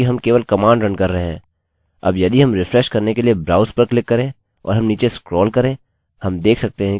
अतः यदि आपको अपने डेटाबेस में कुछ डेटा अपडेट करने की या उसी प्रकार की कुछ जरूरत हैआप दर्शा सकते हैं कि किस डेटा को आप अपडेट करना चाहते हैं